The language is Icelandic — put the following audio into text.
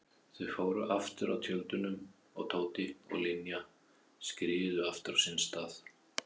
Þau fóru aftur að tjöldunum og Tóti og Linja skriðu aftur á sinn stað.